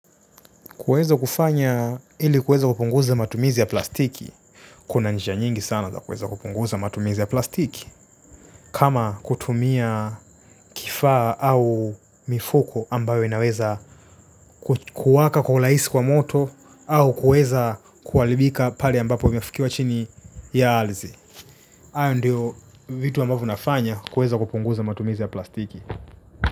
Kuweza kufanya ili kuweza kupunguza matumizi ya plastiki. Kuna njia nyingi sana za kuweza kupunguza matumizi ya plastiki. Kama kutumia kifaa au mifuko ambayo inaweza kuwaka kwa ulaisi kwa moto au kuweza kuhalibika pale ambapo vimefukiwa chini ya alzi hayo ndio vitu ambavyo nafanya kuweza kupunguza matumizi ya plastiki.